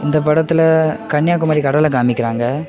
இந்த படத்துல கன்னியாகுமரி கடலை காமிக்கிறாங்க.